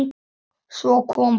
Svo kom kallið.